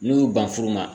N'u y'u ban furu ma